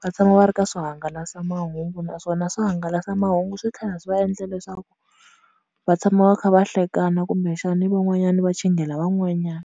va tshama va ri ka swo hangalasa mahungu naswona swihangalasamahungu swi tlhela swi va endla leswaku va tshama va kha va hlekana kumbexani van'wanyani va chinghela van'wanyani.